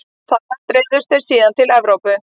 Þaðan dreifðust þeir síðan til Evrópu.